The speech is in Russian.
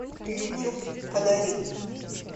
ютюб подари